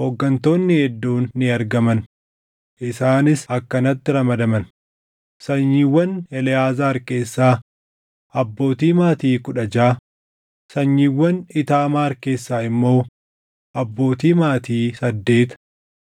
hooggantoonni hedduun ni argaman; isaanis akkanatti ramadaman: sanyiiwwan Eleʼaazaar keessaa abbootii maatii kudha jaʼa, sanyiiwwan Iitaamaar keessaa immoo abbootii maatii saddeet.